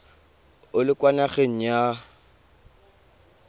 o le kwa nageng ya